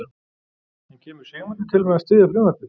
En kemur Sigmundur til með að styðja frumvarpið?